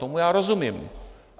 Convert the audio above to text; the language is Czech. Tomu já rozumím.